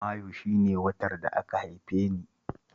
Mayu shi ne watan da aka haife ni.